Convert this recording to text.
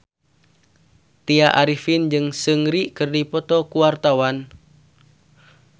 Tya Arifin jeung Seungri keur dipoto ku wartawan